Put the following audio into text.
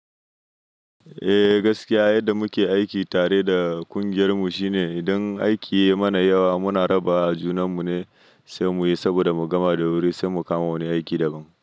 Eh gaskiya yadda muke aiki tare da kungiyar mu shine idan aiki ya yi mana yawa muna rabawa junan mu ne sai muyi saboda mu gama da wuri sai mu kama wani aiki daban.